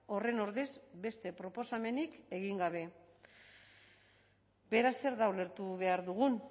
horren ordez beste proposamenik egin gabe beraz zer da ulertu behar duguna